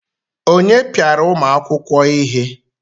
Onye piara ụmụ akwụkwọ ihe?